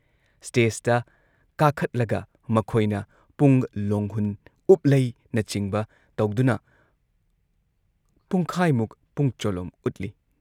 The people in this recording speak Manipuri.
ꯁ꯭ꯇꯦꯖꯇ ꯀꯥꯈꯠꯂꯒ ꯃꯈꯣꯏꯅ ꯄꯨꯡ ꯂꯣꯡꯍꯨꯟ, ꯎꯞꯂꯩꯅꯆꯤꯡꯕ ꯇꯧꯗꯨꯅ ꯄꯨꯡꯈꯥꯏꯃꯨꯛ ꯄꯨꯡ ꯆꯣꯂꯣꯝ ꯎꯠꯂꯤ ꯫